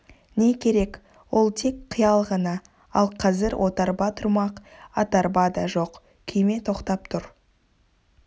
не керек ол тек қиял ғана ал қазір отарба тұрмақ атарба да жоқ күйме тоқтап тұр